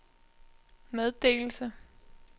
meddelelse